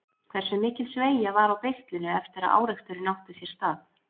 Hversu mikil sveigja var á beislinu eftir að áreksturinn átti sér stað?